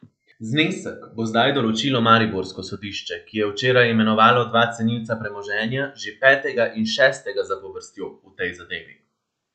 Znesek bo zdaj določilo mariborsko sodišče, ki je včeraj imenovalo dva cenilca premoženja, že petega in šestega zapovrstjo v tej zadevi.